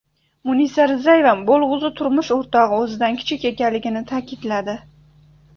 Munisa Rizayeva bo‘lg‘usi turmush o‘rtog‘i o‘zidan kichik ekanligini ta’kidladi.